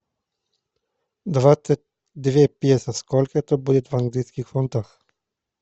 двадцать две песо сколько это будет в английских фунтах